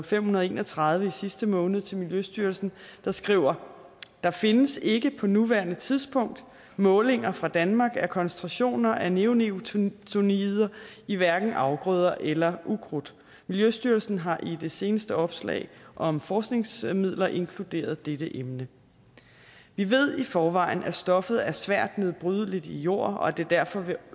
fem hundrede og en og tredive i sidste måned til miljøstyrelsen der skriver der findes ikke på nuværende tidspunkt målinger fra danmark af koncentrationer af neonikotinoider i hverken afgrøder eller ukrudt miljøstyrelsen har i det seneste opslag om forskningsmidler inkluderet dette emne vi ved i forvejen at stoffet er svært nedbrydeligt i jord og at det derfor vil